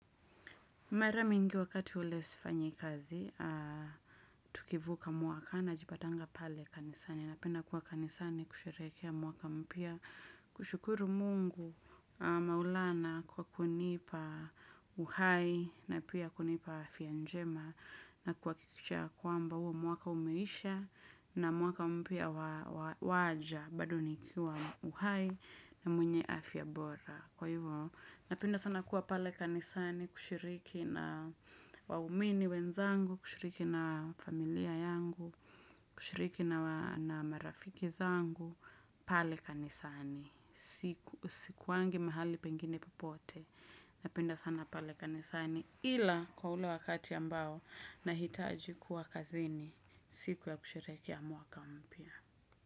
Mara mingi wakati ule sifanyi kazi, tukivuka mwaka najipatanga pale kanisani. Napenda kuwa kanisani kusherehekea mwaka mpya. Kushukuru mungu maulana kwa kunipa uhai na pia kunipa afya njema na kubakikisha ya kwamba huo mwaka umeisha na mwaka mpya waja. Bado nikiwa uhai na mwenye afya bora kwa hivyo, napenda sana kuwa pale kanisani kushiriki na waumini wenzangu, kushiriki na familia yangu, kushiriki na marafiki zangu, pale kanisani, sikuangi mahali pengine popote, napenda sana pale kanisani ila kwa ule wakati ambao nahitaji kuwa kazini, siku ya kusherekea mwaka mpya.